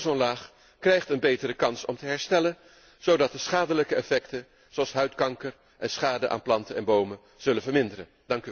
De ozonlaag krijgt een betere kans om te herstellen zodat de schadelijke effecten, zoals huidkanker en schade aan planten en bomen, zullen verminderen.